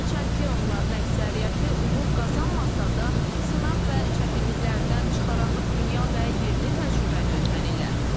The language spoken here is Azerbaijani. Hərçənd ki, onların əksəriyyəti uğur qazanmasa da sınaq və çətinliklərdən çıxaraq dünya və yerli təcrübəni öyrənirlər.